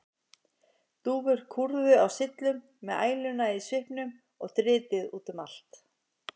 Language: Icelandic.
Dúfur kúrðu á syllum með æluna í svipnum og dritið út um allt.